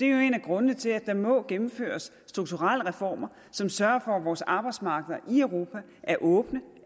jo en af grundene til at der må gennemføres strukturelle reformer som sørger for at vores arbejdsmarkeder i europa er åbne